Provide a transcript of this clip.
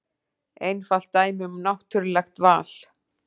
Einfalt dæmi um náttúrulegt val.